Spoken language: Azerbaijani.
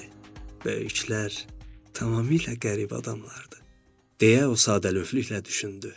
Böyüklər tamamilə qəribə adamlardır, deyə o sadəlövlükə düşündü.